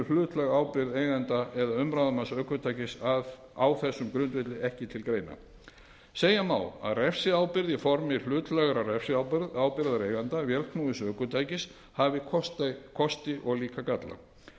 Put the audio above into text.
hlutlæg ábyrgð eiganda eða umráðamanns ökutækis á þessum grundvelli ekki til greina segja má að refsiábyrgð í formi hlutlægrar refsiábyrgðar eiganda vélknúins ökutækis hafi kosti og líka galla